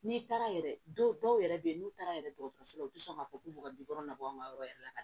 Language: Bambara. N'i taara yɛrɛ dɔw yɛrɛ bɛ yen n'u taara yɛrɛ dɔgɔtɔrɔso la u tɛ sɔn k'a fɔ k'u bɛ ka labɔ an ka yɔrɔ yɛrɛ la ka